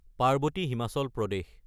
Parvati (Himachal Pradesh)